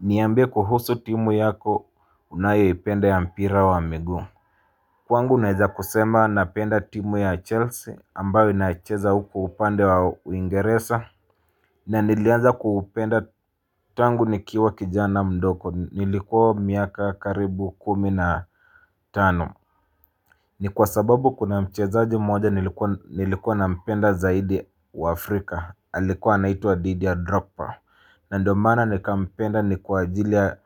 Niambie kuhusu timu yako unayo ipenda ya mpira wa migu Kwangu naeza kusema napenda timu ya chelsea ambayo inacheza huko upande wa uingeresa na nilianza kuupenda tangu nikiwa kijana mdogo nilikuwa miaka karibu kumi na tano ni kwa sababu kuna mchezaaji moja nilikuwa na mpenda zaidi wa afrika alikuwa naitu wa Didier ya drogba na ndomana nika mpenda ni kuajilia